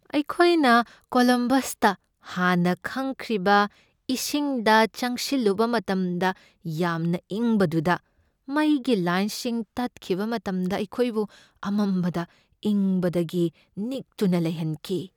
ꯑꯩꯈꯣꯏꯅ ꯀꯣꯜꯂꯝꯕꯁꯇ ꯍꯥꯟꯅ ꯈꯪꯗ꯭ꯔꯤꯕ ꯏꯁꯤꯡꯗ ꯆꯪꯁꯤꯜꯂꯨꯕ ꯃꯇꯝꯗ ꯌꯥꯝꯅ ꯏꯪꯕꯗꯨꯗ ꯃꯩꯒꯤ ꯂꯥꯏꯟꯁꯤꯡ ꯇꯠꯈꯤꯕ ꯃꯇꯝꯗ ꯑꯩꯈꯣꯏꯕꯨ ꯑꯃꯝꯕꯗ ꯏꯪꯕꯗꯒꯤ ꯅꯤꯛꯇꯨꯅ ꯂꯩꯍꯟꯈꯤ ꯫